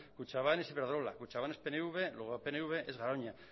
kutxabank es iberdrola kutxabank es pnv luego pnv es garoña